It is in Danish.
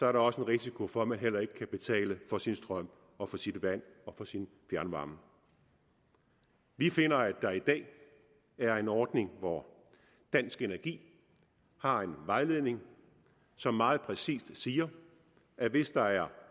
er der også en risiko for at man heller ikke kan betale for sin strøm og sit vand og sin fjernvarme vi finder at der i dag er en ordning hvor dansk energi har en vejledning som meget præcist siger at hvis der er